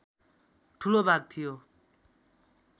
ठूलो भाग थियो